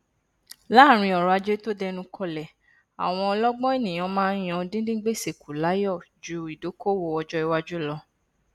láàrin ọrọajé tó dẹnu kọlẹ àwọn ọlọgbọn ènìyàn máa n yan díndín gbèsè kù láàyò ju ìdókòwò ọjọiwájú lọ